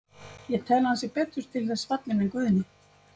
Ég tel að hann sé betur til þess fallinn en Guðni.